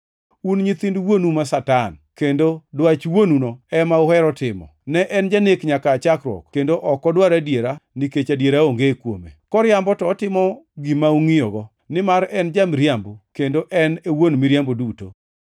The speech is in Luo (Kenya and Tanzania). Un nyithind wuonu ma Satan kendo dwach wuonuno ema uhero timo. Ne en janek nyaka aa chakruok, kendo ok odwar adiera nikech adiera onge kuome. Koriambo to otimo gima ongʼiyogo, nimar en ja-miriambo, kendo en e wuon miriambo duto.